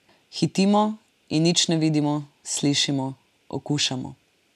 Hitimo in nič ne vidimo, slišimo, okušamo ...